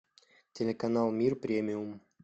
телеканал мир премиум